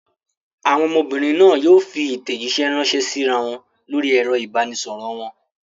Àwọn ọmọbìnrin náà yóò fi ìtẹ̀jíṣẹ́ ránṣẹ́ síra wọn lórí ẹ̀rọ ìbanisọ̀rọ̀ wọn.